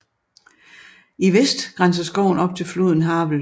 I vest grænser skoven op til floden Havel